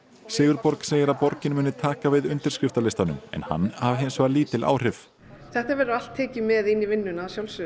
Sigurborg segir að borgin muni taka við undirskriftarlistanum en hann hafi hins vegar lítil áhrif þetta verður allt tekið með inn í vinnuna